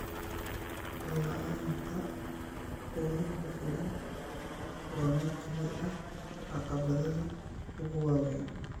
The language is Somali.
La'aanta quudin ku filan waa mid ka mid ah caqabadaha ugu waaweyn